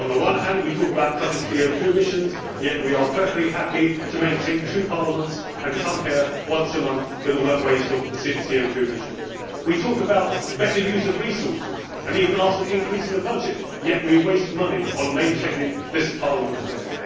On the one hand we talk about cutting CO 2 emissions, yet on the other we are perfectly happy to maintain two parliaments and come here once a month, with all the waste of CO 2 emissions that involves. We talk about better use of resources and even ask for an increase in the budget, yet we waste money on maintaining this Parliament here.